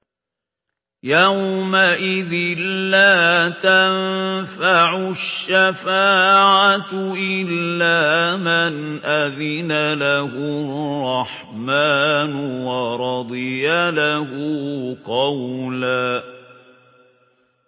يَوْمَئِذٍ لَّا تَنفَعُ الشَّفَاعَةُ إِلَّا مَنْ أَذِنَ لَهُ الرَّحْمَٰنُ وَرَضِيَ لَهُ قَوْلًا